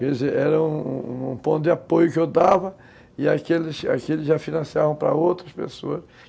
Quer dizer, era um um ponto de apoio que eu dava e aqueles aqueles já financiavam para outras pessoas.